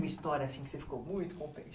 Uma história assim que você ficou muito contente.